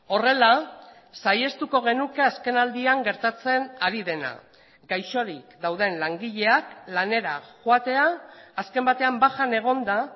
horrela saihestuko genuke azkenaldian gertatzen ari dena gaixorik dauden langileak lanera joatea azken batean bajan egonda